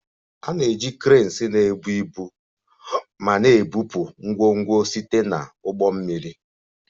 A na-eji cranes na-ebu ibu ma na-ebupụ ngwongwo site na ụgbọ mmiri